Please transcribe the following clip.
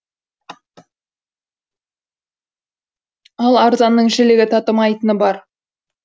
ал арзанның жілігі татымайтыны бар